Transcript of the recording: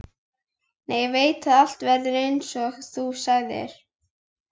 Nei ég veit að allt verður einsog þú sagðir.